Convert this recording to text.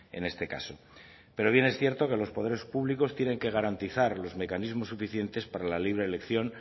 en este caso pero bien es cierto que los poderes públicos tienen que garantizar los mecanismos suficientes para la libre elección